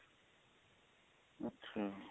ਅੱਛਾ